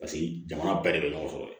Paseke jamana bɛɛ de bɛ ɲɔgɔn sɔrɔ yen